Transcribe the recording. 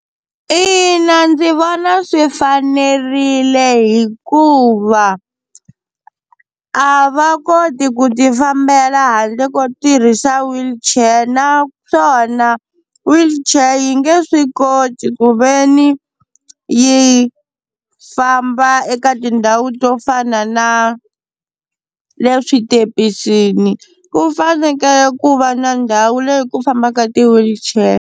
Ina ndzi vona swi fanerile hikuva a va koti ku ti fambela handle ko tirhisa wheelchair, naswona wheelchair yi nge swi koti ku veni yi famba eka tindhawu to fana na le switepisini ku fanekele ku va na ndhawu leyi ku fambaka ti-wheelchair.